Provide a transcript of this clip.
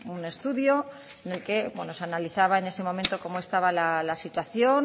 un estudio en el que se analizaba en ese momento cómo estaba la situación